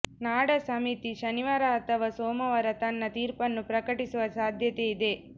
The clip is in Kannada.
ನಾಡಾ ಸಮಿತಿ ಶನಿವಾರ ಅಥವಾ ಸೋಮವಾರ ತನ್ನ ತೀರ್ಪನ್ನು ಪ್ರಕಟಿಸುವ ಸಾಧ್ಯತೆಯಿದೆ